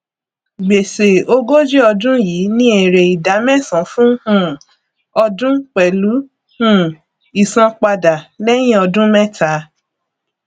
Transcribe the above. gbèsè ogójì ọdún yìí ní èrè ìdá mẹsàn fún um ọdún pẹlú um ìsanpadà lẹyìn ọdún mẹta